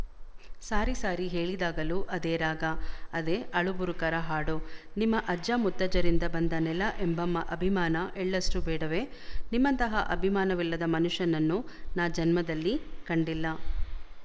ಸಾರಿ ಸಾರಿ ಹೇಳಿದಾಗಲೂ ಅದೇ ರಾಗ ಅದೇ ಅಳುಬುರುಕರ ಹಾಡು ನಿಮ್ಮ ಅಜ್ಜ ಮುತ್ತಜ್ಜರಿಂದ ಬಂದ ನೆಲ ಎಂಬ ಅಭಿಮಾನ ಎಳ್ಳಷ್ಟೂ ಬೇಡವೇ ನಿಮ್ಮಂತಹ ಅಭಿಮಾನವಿಲ್ಲದ ಮನುಷ್ಯನನ್ನು ನಾ ಜನ್ಮದಲ್ಲಿ ಕಂಡಿಲ್ಲ